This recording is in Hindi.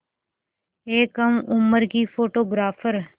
एक कम उम्र की फ़ोटोग्राफ़र